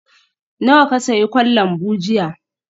Nawa ka sayi kwan lambu jiya?